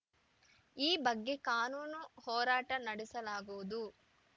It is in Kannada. ಈ ಬಗ್ಗೆ ಕಾನೂನು ಹೋರಾಟ ನಡೆಸಲಾಗುವುದು